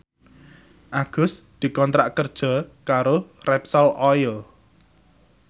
Agus dikontrak kerja karo Repsol Oil